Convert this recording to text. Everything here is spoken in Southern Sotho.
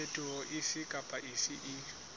phetoho efe kapa efe e